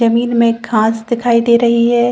जमीन में खास दिखाई दे रही है।